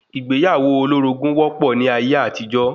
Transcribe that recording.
Ìgbéyàwó olórogún wọ́pọ̀ ní ayé àtijọ́